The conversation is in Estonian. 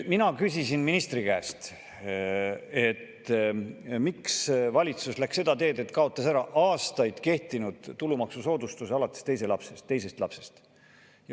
Mina küsisin ministri käest, miks valitsus läks seda teed, et kaotas ära aastaid kehtinud tulumaksusoodustuse alates teisest lapsest.